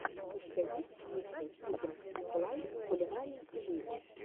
у тебя есть микс кукинг энд лайф кулинарии и жизни